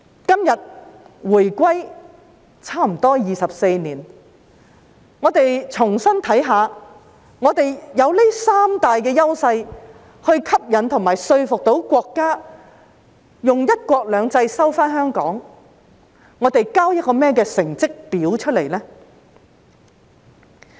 今天回歸差不多24年，讓我們重新審視：我們有這三大優勢吸引和說服到國家用"一國兩制"收回香港，但我們交了甚麼成績表出來呢？